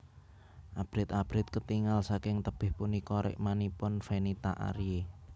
Abrit abrit ketingal saking tebih punika rikmanipun Fenita Arie